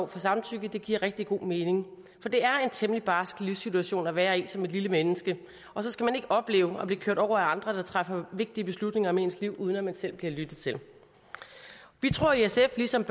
samtykke giver rigtig god mening for det er en temmelig barsk livssituation at være i som et lille menneske og så skal man ikke opleve at blive kørt over af andre der træffer vigtige beslutninger om ens liv uden at man selv bliver lyttet til vi tror i sf ligesom